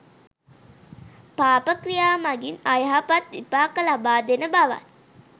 පාප ක්‍රියා මගින් අයහපත් විපාක ලබා දෙන බවත්